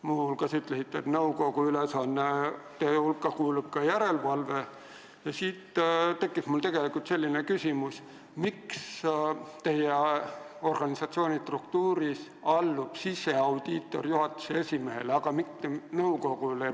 Muu hulgas ütlesite, et nõukogu ülesannete hulka kuulub ka järelevalve ja siit tekkis mul selline küsimus: miks teie organisatsioonis allub siseaudiitor juhatuse esimehele, aga mitte nõukogule?